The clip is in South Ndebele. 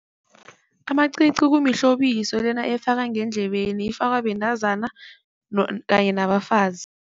Amacici kumihlobiso lena efakwa ngendlebeni, ifakwa bentazana kanye nabafazi.